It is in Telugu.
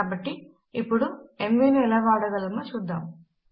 కాబట్టి ఇప్పుడు ఎంవీ ను ఎలా వాడగలమో చూద్దాము